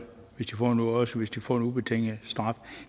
også hvis de får en ubetinget straf